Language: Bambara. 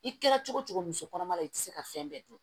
I kɛra cogo o cogo muso kɔnɔma i tɛ se ka fɛn bɛɛ dun